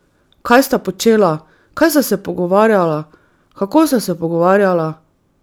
Kaj sta počela, kaj sta se pogovarjala, kako sta se pogovarjala?